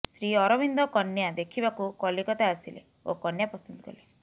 ଶ୍ରୀ ଅରବିନ୍ଦ କନ୍ୟା ଦେଖିବାକୁ କଲିକତା ଆସିଲେ ଓ କନ୍ୟା ପସନ୍ଦ କଲେ